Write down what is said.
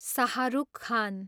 Shahrukh Khan